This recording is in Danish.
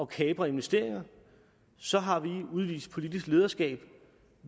kapre investeringer så har vi udvist politisk lederskab